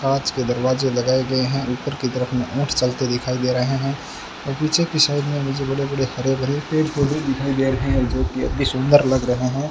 कांच के दरवाजे लगाए गए हैं ऊपर कि तरफ ऊं ऊंट चलते दिखाई दे रहे हैं और पीछे कि साइड में मुझे बड़े-बड़े हरे-भरे पेड़ पौधे दिखाई दे रहे हैं जोकि अतिसुंदर लग रहे हैं।